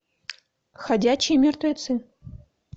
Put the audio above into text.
ходячие мертвецы